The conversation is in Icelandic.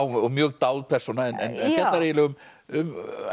og mjög dáð persóna en fjallar eiginlega um